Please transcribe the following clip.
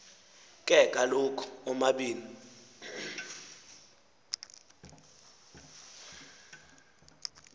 ke kaloku omabini